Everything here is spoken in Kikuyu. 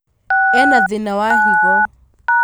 Ena thĩna wa higo